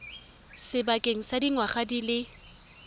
sebakeng sa dingwaga di le